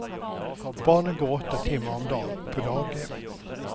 Barnen går åtta timmar om dagen på daghem.